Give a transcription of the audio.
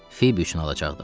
Fibi üçün alacaqdım.